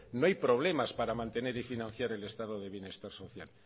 no hay problemas para mantener y financiar el estado de bienestar social